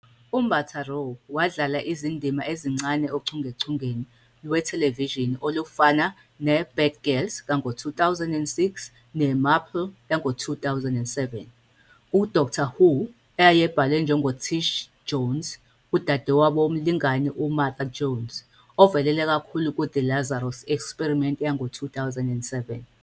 UMbatha-Raw wadlala izindima ezincane ochungechungeni lwethelevishini olufana "neBad Girls", 2006, "neMarple", 2007. "KuDoctor Who" ayebhalwe njengoTish Jones, udadewabo womlingani uMartha Jones, ovelele kakhulu ku- " The Lazarus Experiment ", 2007.